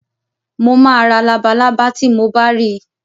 Mo ma ra labalábá tí mo bá ri